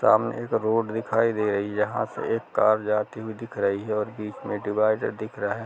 सामने एक रोड दिखाई दे रही है यहाँ से एक कार जाती हुई दिख रही है और बीच में डीवाईडर दिख रहे है।